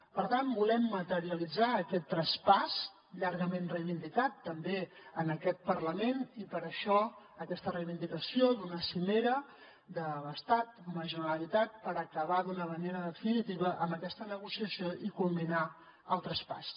per tant volem materialitzar aquest traspàs llargament reivindicat també en aquest parlament i per això aquesta reivindicació d’una cimera de l’estat amb la generalitat per acabar d’una manera definitiva amb aquesta negociació i culminar el traspàs